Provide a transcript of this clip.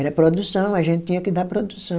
Era produção, a gente tinha que dar produção.